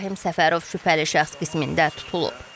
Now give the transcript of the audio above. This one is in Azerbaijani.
Rahim Səfərov şübhəli şəxs qismində tutulub.